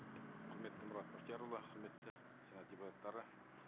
құрметті мұрат бақтиярұлы құрметті сенат депутаттары